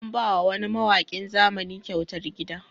An ba wa wani mawaƙin zamani kyautar gida